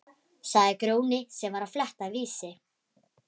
sagði Grjóni sem var að fletta Vísi.